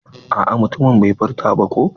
A'a mutumin bai furta ba ko.